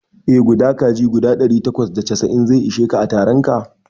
Eh, guda kaji guda ɗari takwas da casa'in zai ishe ka a taronka